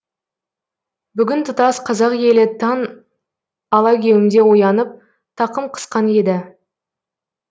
бүгін тұтас қазақ елі таң алагеуімде оянып тақым қысқан еді